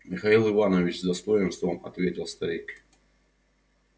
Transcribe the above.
михаил иванович с достоинством ответил старик